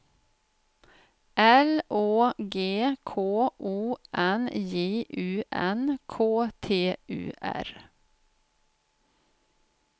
L Å G K O N J U N K T U R